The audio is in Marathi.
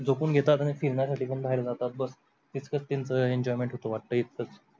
झोपून घेतात अन तीन ताससाठी बाहेर जातात बस तिथकच त्यांच enjoyment होतो वाटेत इथकच